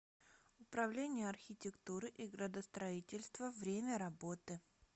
управление архитектуры и градостроительства время работы